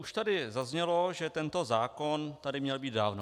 Už tady zaznělo, že tento zákon tady měl být dávno.